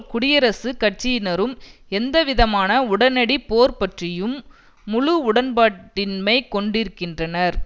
குடியரசுக் கட்சியினரும் எந்தவிதமான உடனடி போர் பற்றியும் முழு உடன்பாடின்மை கொண்டிருக்கின்றனர்